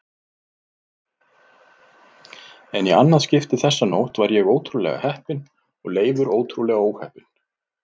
En í annað skipti þessa nótt var ég ótrúlega heppinn og Leifur ótrúlega óheppinn.